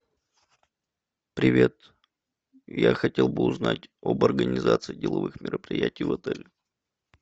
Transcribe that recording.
привет я хотел бы узнать об организации деловых мероприятий в отеле